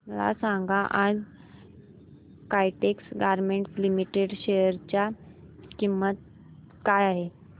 मला सांगा आज काइटेक्स गारमेंट्स लिमिटेड च्या शेअर ची किंमत काय आहे